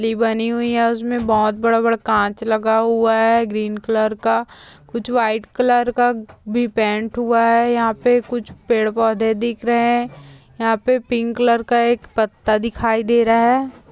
बनी हुई है उसमें बहुत बड़ा बड़ा कांच लगा हुआ है ग्रीन कलर का कुछ वाइट कलर का भी पेंट हुआ है यहाँ पे कुछ पेड़ पौधे दिख रहे है यहाँ पे पिंक कलर का एक पत्ता दिखाई दे रहा है।